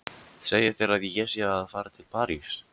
Segja þeir að ég sé að fara til París?